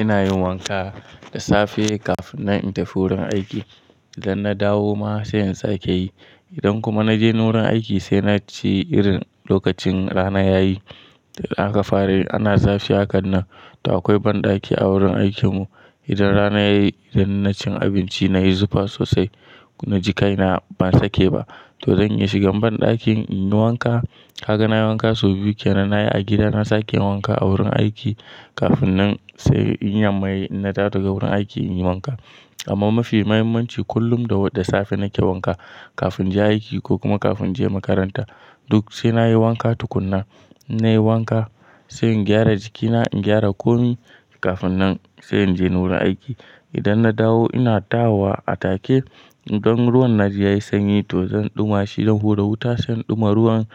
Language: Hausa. Ina yin wanka da safe kafin nan in tafi wurin aiki. Idan na dawo ma sai in sake yi. Idan kuma na je ni wurin aiki sai na ci irin lokacin rana yayi. Da aka fara yi ana zafi a kan nan to akwai banɗaki a wurin aikin mu. Idan rana yayi idan na cin abinci na yi zufa sosai na ji kaina ban sake ba to zan iya shigan banɗakin in yi wanka. Kaga na yi wanka sau biyu kenan. Nayi a gida na sake wanka a wurin aiki kafin nan sai in yamma yayi inna dawo daga wurin aiki in yi wanka. Amma mafi muhimmanci kullum da safe nake wanka kafin je aiki ko kuma kafin je makaranta. Duk sai na yi wanka tukuna. Na yi wanka sai in gyara jikina, in gyara komai kafin nan sai inje ni wurin aiki. Idan na dawo ina dawowa a take idan ruwan na ji yayi sanyi to zan ɗuma shi don hura wuta sai in ɗuma ruwan.